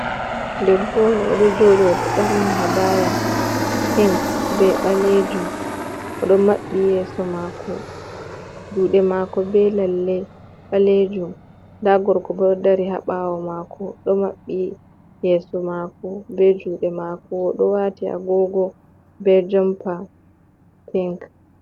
Debbo on oɗo joɗi oɗo ɓorni habaya pink be ɓalejum, oɗo maɓɓi yeso mako, juɗe mako be lalle ɓalejum, nda gorko bo ɗo dari ha ɓawo mako ɗo maɓɓi yeso mako be juɗe mako, oɗo wati agogo be jompa pink.